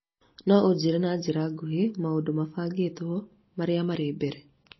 no ũnjĩĩre na njĩra nguhĩ maũndũ mabangĩtwo marĩa marĩ mbere